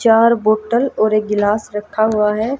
चार बोटल और एक गिलास रखा हुआ है।